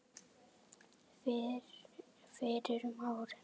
fyrir um ári.